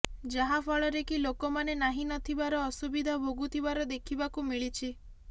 ଯାହାଫଳରେ କି ଲୋକମାନେ ନାହିଁ ନଥିବାର ଅସୁବିଧା ଭୋଗୁଥିବାର ଦେଖିବାକୁ ମିଳିଛି